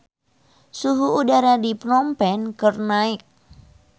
Suhu udara di Phnom Penh keur naek